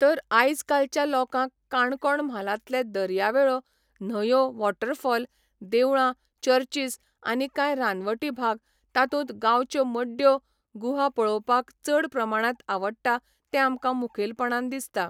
तर आयज कालच्या लोकांक काणकोण म्हालांतले दर्यावेळो न्हंयो वॉटरफॉल देवळां चर्चीस आनी कांय रानवटी भाग तातूंत गांवच्यो मड्ड्यो गुहा पळोवपाक चड प्रमाणांत आवडटा तें आमकां मुखेलपणान दिसता